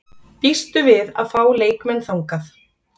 Býstu við að fá leikmenn þaðan?